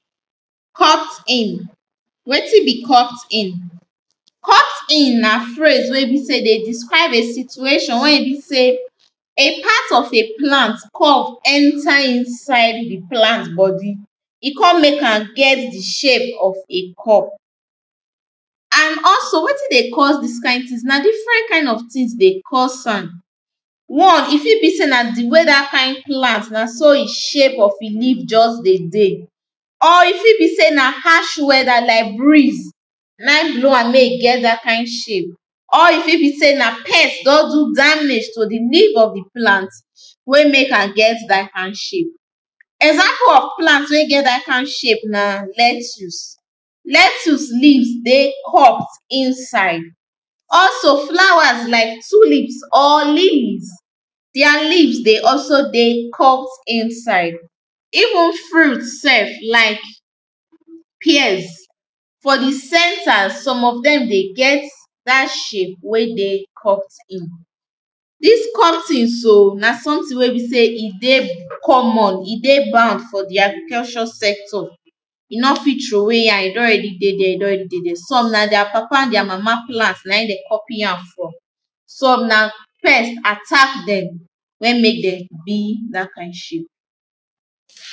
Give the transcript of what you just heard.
Cut in, wetin be cut in, cut in na phrase wey be sey dey describe a situation wey be sey a part of a plant curve enter inside di plant body e kon make am get di shape of a curve and also wetin dey cause dis kind tin na different kind of tins dey cause am, one e fit be sey na di way dat kind plant na so di shape of e leave just dey dey or fit be say na harsh weather like breeze naim blow wey e get dat kind shape or e fit be sey na pest don do damage to di leave of di plant wey make am get dat kind shape, example of plant wey get dat kind shape na lectus, lectus leaves dey curve inside also flowers like tulips or limbs dia leaves dey also dey curve inside, even fruit sef like pears for di center some of dem dey get dat shape wey dey cut in, dis cut in so na sometin wey be sey e dey common e dey bound for di agricultur sector you no fit drop way am e don already dey dere, e don already dey dere some na dia papa dia mama plant naim dem copy am from some na pest attack dem wey make dem be dat kind shape.